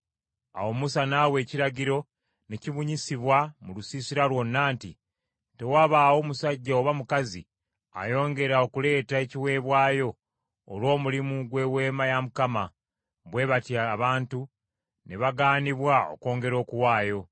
Awo Musa n’awa ekiragiro ne kibunyisibwa mu lusiisira lwonna nti, “Tewabaawo musajja oba mukazi ayongera okuleeta ekiweebwayo olw’omulimu gw’Eweema ya Mukama .” Bwe batyo abantu ne bagaanibwa okwongera okuwaayo;